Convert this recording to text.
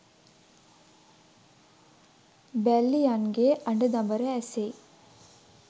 බැල්ලියන්ගේ අඬදබර ඇසෙයි